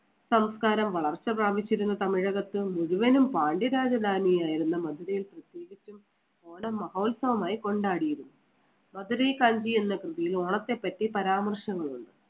സംസ്കാരം വളർച്ച പ്രാപിച്ചിരുന്ന തമിഴകത്ത് മുഴുവനും പാണ്ഡ്യരാജധാനി ആയിരുന്ന മധുരയിൽ പ്രത്യേകിച്ചും ഓണ മഹോത്സവമായി കൊണ്ടാടിയിരുന്നു. മധുരെെ കൽവി എന്ന കൃതിയിൽ ഓണത്തെപ്പറ്റി പരാമർശങ്ങളുണ്ട്.